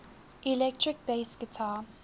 electric bass guitar